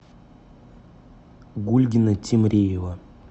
гульгина темриева